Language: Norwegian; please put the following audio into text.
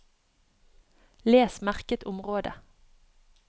Les merket område